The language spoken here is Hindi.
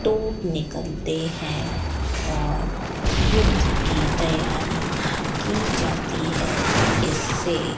तोप निकलते हैं और युद्ध की तैयारी की जाती है इससे --